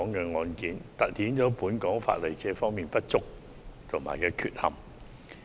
這宗案件凸顯了本港法例在這方面的不足和缺陷。